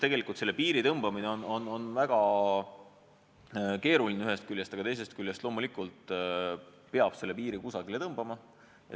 Tegelikult on selle piiri tõmbamine väga keeruline, ühest küljest, aga teisest küljest peab loomulikult selle piiri kusagile tõmbama.